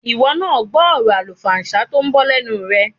Ìwọ náà gbọ́ ọ̀rọ̀ àlùfàǹsá tó ń bọ́ lẹ́nu rẹ̀.